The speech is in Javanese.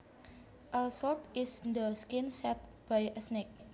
A slough is the skin shed by a snake